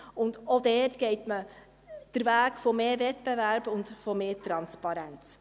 Auch dort geht man den Weg von mehr Wettbewerb und mehr Transparenz.